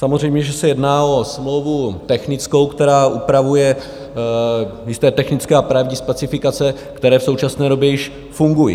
Samozřejmě že se jedná o smlouvu technickou, která upravuje jisté technické a právní specifikace, které v současné době již funguji.